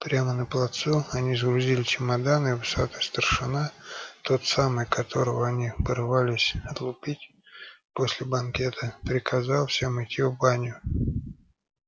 прямо на плацу они сгрузили чемоданы и усатый старшина тот самый которого они порывались отлупить после банкета приказал всем идти в баню